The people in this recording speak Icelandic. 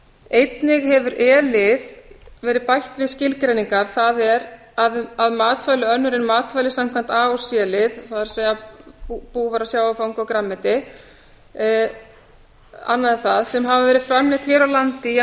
einnig hefur e lið verið bætt við skilgreiningar það er að matvæli önnur en matvæli samkvæmt a til c lið það er búvara sjávarfang og grænmeti annað en það sem hafa verið framleidd hér á landi í að